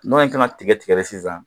Mana in kan ka tigɛ tigɛ de sisan